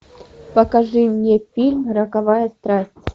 покажи мне фильм роковая страсть